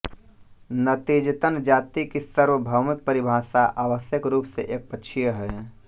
नतीजतन जाति की सार्वभौमिक परिभाषा आवश्यक रूप से एकपक्षीय है